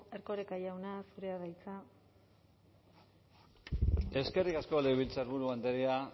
erkoreka jauna zurea da hitza eskerrik asko legebiltzarburu andrea